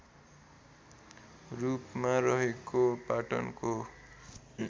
रूपमा रहेको पाटनको